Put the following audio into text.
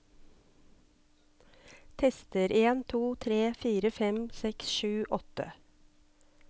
Tester en to tre fire fem seks sju åtte